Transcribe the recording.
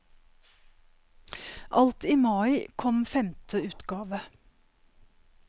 Alt i mai kom femte utgave.